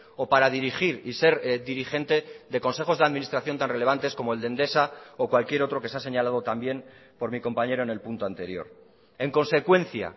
o para dirigir y ser dirigente de consejos de administración tan relevantes como el de endesa o cualquier otro que se ha señalado también por mi compañero en el punto anterior en consecuencia